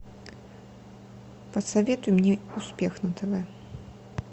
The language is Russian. посоветуй мне успех на тв